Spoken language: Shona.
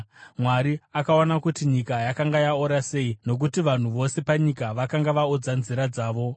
Mwari akaona kuti nyika yakanga yaora sei, nokuti vanhu vose panyika vakanga vaodza nzira dzavo.